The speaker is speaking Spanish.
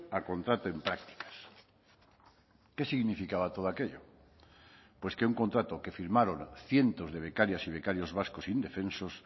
a contrato en prácticas qué significaba todo aquello pues que un contrato que firmaron cientos de becarias y becarios vascos indefensos